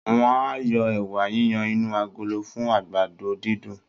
Wọ́n á yọ ẹ̀wà yiyan inú agolo fún àgbàdo-dídùn